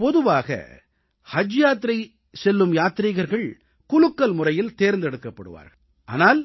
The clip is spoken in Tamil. பொதுவாக ஹஜ் செல்லும் யாத்ரீகர்கள் குலுக்கல் முறையில் தேர்ந்தெடுக்கப்படுவார்கள் ஆனால்